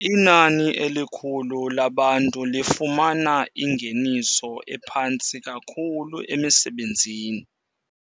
Inani elikhulu labantu lifumana ingeniso ephantsi kakhulu emisebenzini.